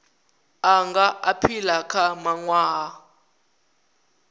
a nga aphila kha mawanwa